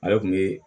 Ale kun be